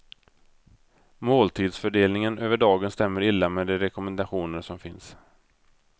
Måltidsfördelningen över dagen stämmer illa med de rekommendationer som finns.